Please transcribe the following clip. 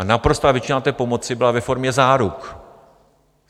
A naprostá většina té pomoci byla ve formě záruk.